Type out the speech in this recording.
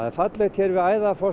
fallegt hér við